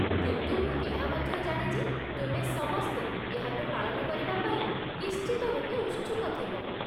କିନ୍ତୁ ମୁଁ ଏହା ମଧ୍ୟ ଜାଣେ ଯେ ତୁମେ ସମସ୍ତେ ଏହାକୁ ପାଳନ କରିବା ପାଇଁ ନିଶ୍ଚିତ ରୂପେ ଉତ୍ସୁକ ଥିବ।